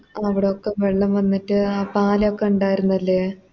അവിടൊക്കെ വെള്ളം വന്നിട്ട് ആ പാലൊക്കെ ഇണ്ടാരുന്നല്ലേ